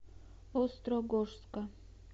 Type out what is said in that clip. острогожска